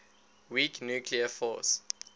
weak nuclear force